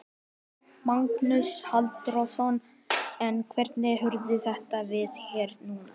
Magnús Halldórsson: En hvernig horfir þetta við þér núna?